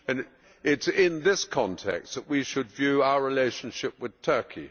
It is in this context that we should view our relationship with Turkey.